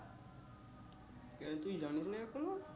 কেন তুই জানিস না এখনো